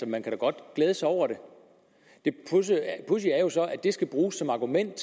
man kan da godt glæde sig over det det pudsige er jo så at det skal bruges som argument